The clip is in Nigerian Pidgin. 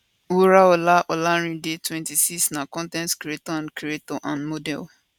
wuraola olarinde 26 na con ten t creator and creator and model